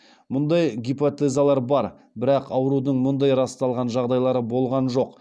мұндай гипотезалар бар бірақ аурудың мұндай расталған жағдайлары болған жоқ